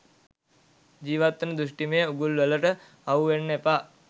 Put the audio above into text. ජීවත්වෙන දෘෂ්ටිමය උගුල්වලට අහුවෙන්න එපා.